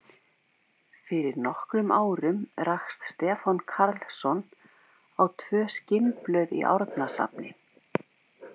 Fyrir nokkrum árum rakst Stefán Karlsson á tvö skinnblöð í Árnasafni.